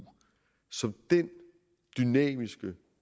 som den dynamiske